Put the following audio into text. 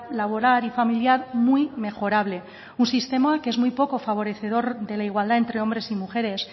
laboral y familiar muy mejorable un sistema que es muy poco favorecedor de la igualdad entre hombres y mujeres